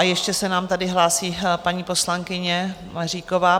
A ještě se nám tady hlásí paní poslankyně Maříková.